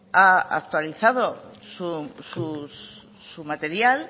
ha actualizado su material